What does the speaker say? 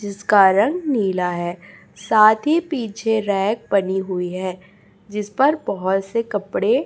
जिसका रंग नीला है साथ ही पीछे रैक बनी हुई है जिस पर बहोत से कपड़े--